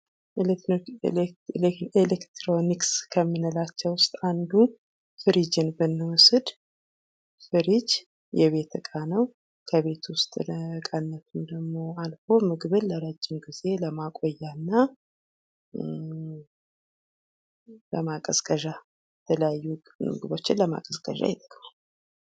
ኤሌክትሮኒክስ ከምንላቸው ውስጥ አንዱ ፍሪጅን ብንወስድ ፍሪጅ የቤት ዕቃ ነው። ከቤት ውስጥ ለቃነት ደሞ አልፎ ምግብ ለረጅም ጊዜ ለማቆያና ለማቀዝቀዣ የተለያዩ ምግቦችን ለማቀዝቀዣ ይጠቅማል።